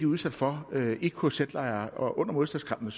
udsat for i kz lejre og under modstandskampen og